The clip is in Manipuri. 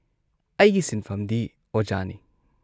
ꯑꯩꯒꯤ ꯁꯤꯟꯐꯝꯗꯤ ꯑꯣꯖꯥꯅꯤ ꯫